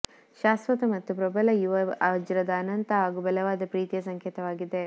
ಶಾಶ್ವತ ಮತ್ತು ಪ್ರಬಲ ಯುವ ವಜ್ರದ ಅನಂತ ಮತ್ತು ಬಲವಾದ ಪ್ರೀತಿಯ ಸಂಕೇತವಾಗಿದೆ